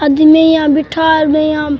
आदमी यहाँ बिठा गए यहां --